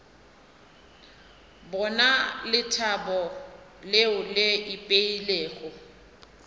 bona lethabo leo le ipeilego